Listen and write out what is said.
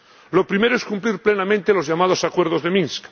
Lo primero es cumplir plenamente los llamados Acuerdos de Minsk.